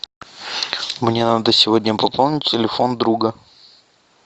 мне надо сегодня пополнить телефон друга